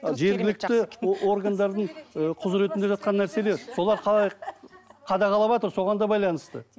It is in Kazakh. ы жергілікті органдардың ы құзыретінде жатқан нәрселер солар қалай қадағалаватыр соған да байланысты